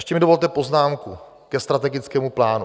Ještě mi dovolte poznámku ke strategickému plánu.